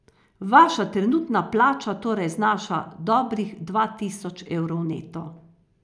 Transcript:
Vaša trenutna plača torej znaša dobrih dva tisoč evrov neto.